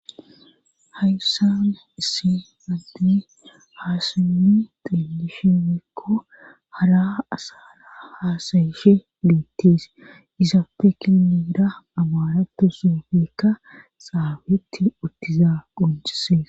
hayssana issi mand haasanni xielishi meekko hara asara haasayishe liittees isaafekin miida amaratu soufeekka saabeetti uttiza qoncise